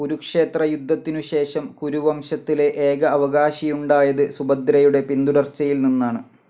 കുരുക്ഷേത്രയുദ്ധത്തിനുശേഷം കുരുവംശത്തിലെ ഏക അവകാശിയുണ്ടായത് സുഭദ്രയുടെ പിന്തുടർച്ചയിൽ നിന്നാണ്.